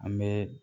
An bɛ